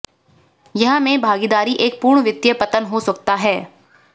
यह में भागीदारी एक पूर्ण वित्तीय पतन हो सकता है